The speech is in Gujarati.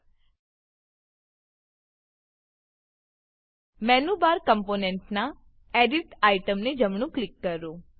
મેનું બાર મેનુ બાર કમ્પોનેંટનાં એડિટ એડીટ આઇટમને જમણું ક્લિક કરો